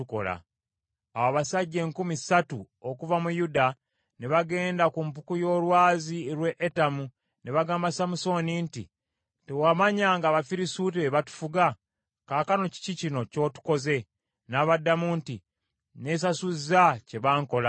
Awo abasajja enkumi ssatu okuva mu Yuda ne bagenda ku mpuku y’olwazi lw’e Etamu ne bagamba Samusooni nti, “Tewamanya ng’Abafirisuuti be batufuga? Kaakano kiki kino ky’otukoze?” N’abaddamu nti, “Nneesasuzza kye bankola.”